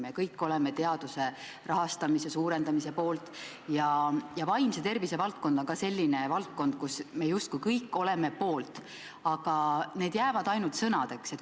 Me kõik oleme teaduse rahastamise suurendamise poolt ja vaimse tervise valdkond on ka selline valdkond, mille poolt me justkui kõik oleme, aga need jäävad ainult sõnadeks.